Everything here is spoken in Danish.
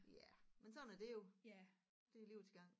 Ja men sådan er det jo det er livets gang